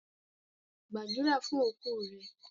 Pray for your deceased!